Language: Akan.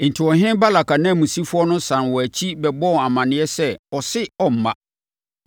Enti, ɔhene Balak ananmusifoɔ no sane wɔn akyi bɛbɔɔ amaneɛ sɛ ɔse ɔremma.